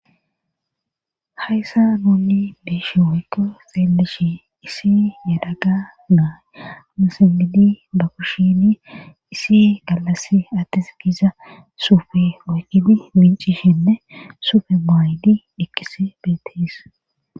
hayssa nunni beeshe woykko feelleshi isi yadaga naay musenmidi ba kushini isi gallas attis giiza suufe oyqidi mincishinne sufe maaydi eqoys beetes